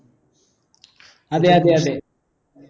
അതെ അതെ അതെ